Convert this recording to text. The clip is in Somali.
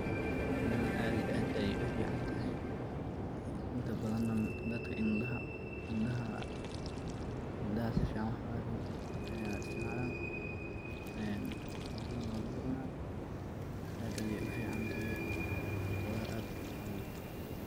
Cunadan ad iyo ad ayay uficantahy inta badhan dadka indaha sifican wax oga arkin aya istacmala, cuntada nah walagu cunah ad ayay uficantahy, qudar ad ufican waye.